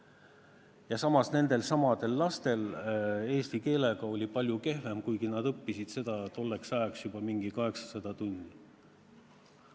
Ja samas nendelsamadel lastel olid lood eesti keelega palju kehvemad, kuigi nad olid seda tolleks ajaks õppinud juba umbes 800 tundi.